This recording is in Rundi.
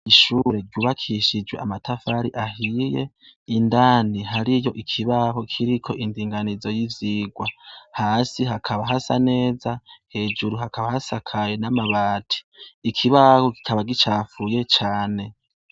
Ishure rw'ubakishijwe amatafari ahiye indani hariyo ikibaho kiriko indinganizo y'ivyigwa hasi hakaba hasa neza hejuru hakaba hasakaye n'amabati ikibaho kikaba gicapfuye cane